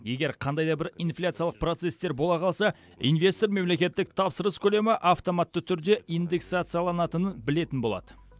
егер қандай да бір инфляциялық процесстер бола қалса инвестор мемлекеттік тапсырыс көлемі автоматты түрде индексацияланатынын білетін болады